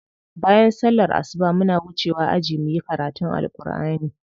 Bayan sallar asuba muna wucewa aji muyi karatun Alkur'ani.